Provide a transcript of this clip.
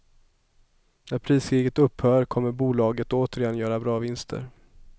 När priskriget upphör kommer bolaget återigen göra bra vinster.